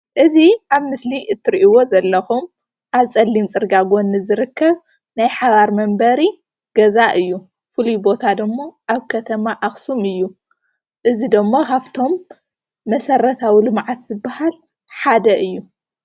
እዚ ኣብ ምስሊ እትሪእዎ ዘለኹም ኣብ ፀሊም ፅርግያ ጎኒ ዝርከብ ናይ ሓባር መንበሪ ገዛ እዩ:: ፍሉይ ቦታ ድማ ኣብ ከተማ አኽሱም እዩ:: እዚ ድማ ካብቶም መሰረታዊ ልምዓት ዝበሃል ሓደ እዩ።